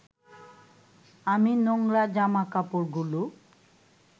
আমি নোংরা জামাকাপড়গুলো